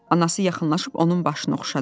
Anası yaxınlaşıb onun başını oxşadı.